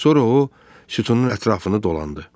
Sonra o sütunun ətrafını dolandı.